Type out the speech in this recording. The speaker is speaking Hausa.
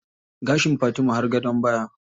Gashin Fatima har gadon baya.